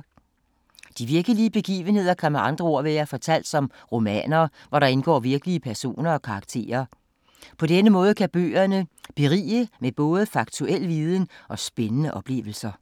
De virkelige begivenheder kan med andre ord være fortalt som romaner, hvor der indgår virkelige personer og karakterer. På denne måde kan bøgerne berige med både faktuel viden og spændende oplevelser.